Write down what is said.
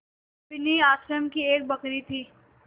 बिन्नी आश्रम की एक बकरी थी